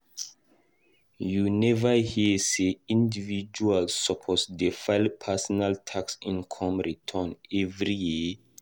You neva hear sey individuals suppose dey file personal tax income return every year?